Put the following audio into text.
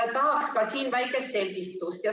Tahaks ka siin väikest selgitust.